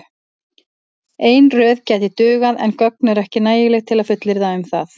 Ein röð gæti dugað en gögn eru ekki nægileg til að fullyrða um það.